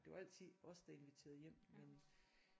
Det var altid os der inviterede hjem men